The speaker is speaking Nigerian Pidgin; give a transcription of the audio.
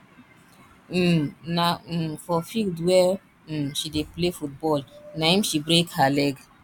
um na um for field where um she dey play football na im she break her leg